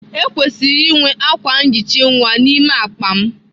Ekwesịrị inwe akwa nhicha nwa n'ime akpa m.